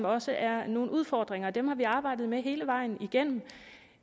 også er nogle udfordringer og dem har vi arbejdet med hele vejen igennem